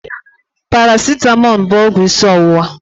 Paracitamọ bụ ọgwụ isi ọwụwa.